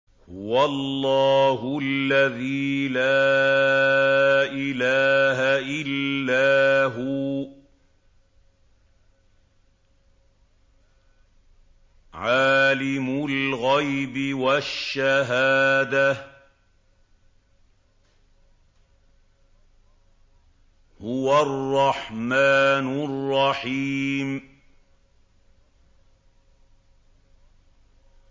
هُوَ اللَّهُ الَّذِي لَا إِلَٰهَ إِلَّا هُوَ ۖ عَالِمُ الْغَيْبِ وَالشَّهَادَةِ ۖ هُوَ الرَّحْمَٰنُ الرَّحِيمُ